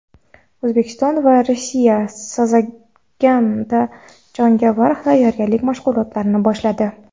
O‘zbekiston va Rossiya "Sazagan"da jangovar tayyorgarlik mashg‘ulotlarini boshladi.